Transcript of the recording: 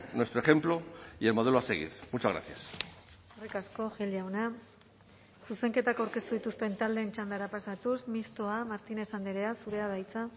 nuestro ejemplo y el modelo a seguir muchas gracias eskerrik asko gil jauna zuzenketak aurkeztu dituzten taldeen txandara pasatuz mistoa martínez andrea zurea da hitza